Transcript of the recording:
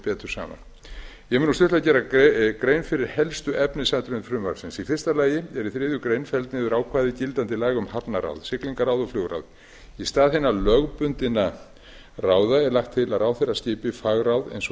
mun nú stuttlega gera grein fyrir helstu efnisatriðum frumvarpsins í fyrsta lagi er í þriðju grein felld niður ákvæði gildandi laga um hafnaráð siglingaráð og flugráð í stað hinna lögbundinna ráða er lagt til að ráðherra skipi fagráð eins og